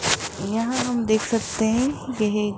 यहां हम देख सकते हैं यह--